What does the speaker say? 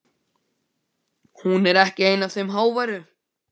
Hún er ekki ein af þeim háværu.